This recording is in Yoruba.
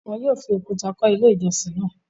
Wọn yóò fi òkúta kọ́ Ilé-ìjọsìn náà.